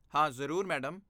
ਹਾਂ, ਜ਼ਰੂਰ, ਮੈਡਮ।